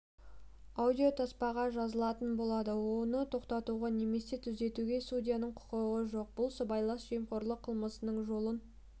аудиотаспаға жазылатын болады оны тоқтатуға немесе түзетуге судьяның құқығы жоқ бұл сыбайлас жемқорлық қылмысының жолын